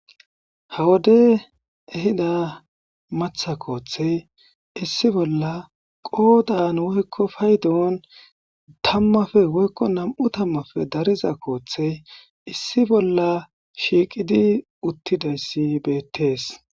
ha wode ehida matha kooththey issi bolla qoodan woykko paydewon tammafe woykko nam7u tammafe dariza kooththey issi bolla shiiqidi uttidayssi beettees